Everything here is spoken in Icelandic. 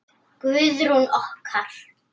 Guðrún okkar!